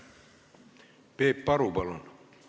Peep Aru, palun!